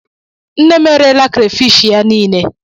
Nne m erela crayfish ya niile.